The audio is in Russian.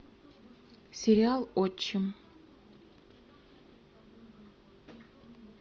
сериал отчим